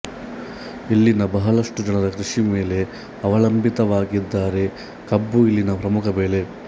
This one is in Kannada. ಇಲ್ಲಿನ ಬಹಳಷ್ಟು ಜನರು ಕೃಷಿ ಮೇಲೆ ಅವಲಂಬಿತವಾಗಿದ್ದಾರೆ ಕಬ್ಬು ಇಲ್ಲಿನ ಪ್ರಮುಖ ಬೆಳೆ